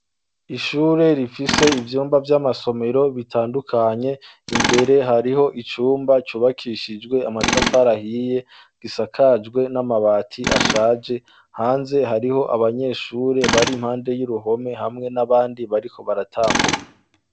Ishure rifise ivyumba vy'amasomero bitandukanye imbere hariho icumba cubakishijwe amatafarahiye gisakajwe n'amabati ashaje, hanze hariho abanyeshure bari mpande y'i ruhome hamwe n'abandi bariko baratambuka.